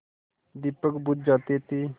दीपक बुझ जाते थे